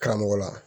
Karamɔgɔ la